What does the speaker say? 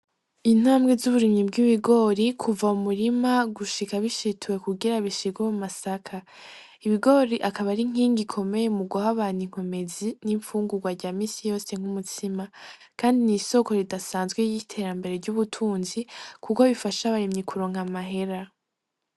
Intambwe zuburimyi bw'ibigore kuva mu murima gushika bishituwe kugira bishigwe mu masaka, ibigori akaba ari inkingi ikomeye mu guha abantu inkomezi n'imfungurwa rya minsi yose nkumutsima kandi nisoko ridasanzwe niterambere ryubutunzi kuko rifasha abarimyi kuronka amahera.